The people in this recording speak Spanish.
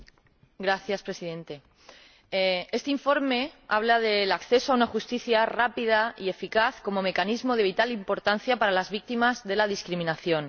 Señor Presidente, este informe habla del acceso a una justicia rápida y eficaz como mecanismo de vital importancia para las víctimas de la discriminación.